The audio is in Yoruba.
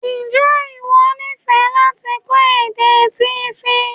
N jẹ iwọ nifẹ lati kọ èdè Tífí?